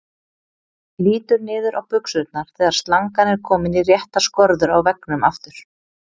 Lítur niður á buxurnar þegar slangan er komin í réttar skorður á veggnum aftur.